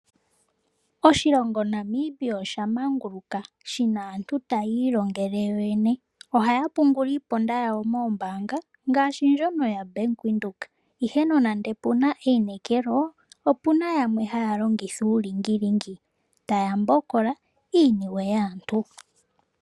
Oshilongo Namibia osha manguluka. Shi na aantu taya ilongele yo yene. Ohaya pungula iiponda yawo moombaanga ngaashi ndjono yoBank Windhoek, ihe nande pu na einekelo, opu na yamwe haya longitha uulingilingi taya mbokola iiniwe yaantu.